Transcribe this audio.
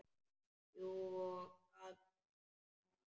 Jú og hvað með það!